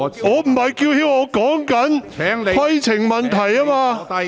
我不是叫喊，而是提出規程問題。